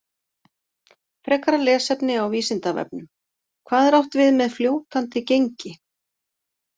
Frekara lesefni á Vísindavefnum: Hvað er átt við með fljótandi gengi?